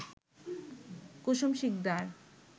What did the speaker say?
Kusum Sikdar